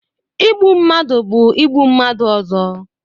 Igbu mmadụ bụ igbu mmadụ ọzọ.